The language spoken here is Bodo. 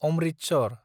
अमृतसर